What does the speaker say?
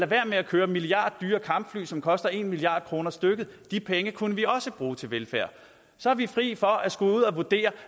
være med at købe milliarddyre kampfly som koster en milliard kroner stykket de penge kunne vi også bruge til velfærd så er vi fri for at skulle vurdere